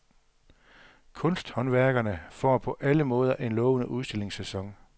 Kunsthåndværkerne får på alle måder en lovende udstillingssæson.